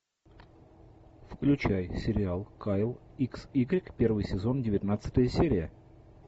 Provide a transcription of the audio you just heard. включай сериал кайл икс игрек первый сезон девятнадцатая серия